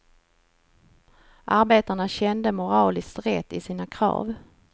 Arbetarna kände moralisk rätt i sina krav.